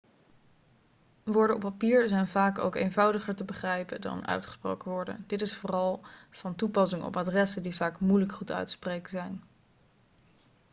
woorden op papier zijn ook vaak eenvoudiger te begrijpen dan uitgesproken woorden dit is vooral van toepassing op adressen die vaak moeilijk goed uit te spreken zijn